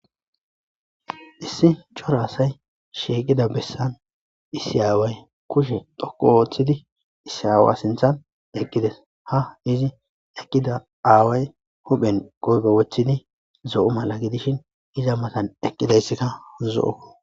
Issi cora asay sheeqida bessan issi aaway kushe dhokko wooththidi issi aawa sinthan eqqides ha izi eqqida aaway hophen qoybe wothidi zo7u mala gidishin iza matan eqqidayssikka zo7o